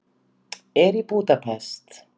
Er í Búdapest.